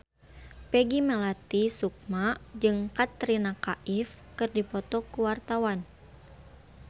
Peggy Melati Sukma jeung Katrina Kaif keur dipoto ku wartawan